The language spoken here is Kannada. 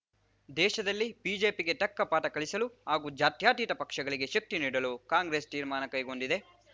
ದೇಶದಲ್ಲಿ ಬಿಜೆಪಿಗೆ ತಕ್ಕ ಪಾಠ ಕಲಿಸಲು ಹಾಗೂ ಜಾತ್ಯತೀತ ಪಕ್ಷಗಳಿಗೆ ಶಕ್ತಿ ನೀಡಲು ಕಾಂಗ್ರೆಸ್‌ ತೀರ್ಮಾನ ಕೈಗೊಂಡಿದೆ